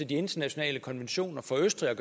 de internationale konventioner for østrig